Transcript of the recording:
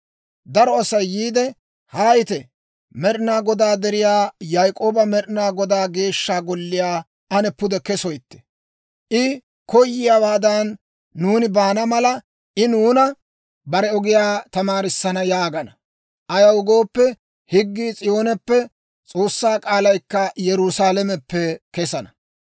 Daro Asay yiide, «Haayite! Med'inaa Godaa deriyaa, Yaak'ooba Med'inaa Godaa Geeshsha Golliyaa ane pude kesoytte. I koyiyaawaadan nuuni baana mala, I nuuna bare ogiyaa tamaarissana» yaagana. Ayaw gooppe, higgii S'iyooneppe, S'oossaa k'aalaykka Yerusaalameppe kesana.